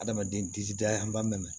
Adamaden disi da an b'a mɛn